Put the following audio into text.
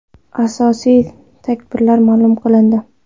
Asosiy tarkiblar ma’lum qilindi.